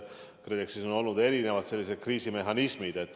KredExis on olnud erinevad kriisimehhanismid.